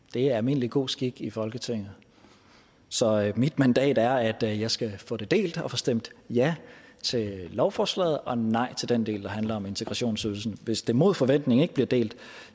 det er almindelig god skik i folketinget så mit mandat er at jeg skal få det delt og få stemt ja til lovforslaget og nej til den del der handler om integrationsydelsen hvis det mod forventning ikke bliver delt